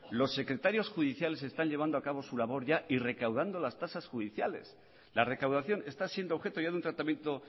los secretarios judiciales están llevando acabo su labor ya y recaudando las tasas judiciales la recaudación está siendo objeto ya de un tratamiento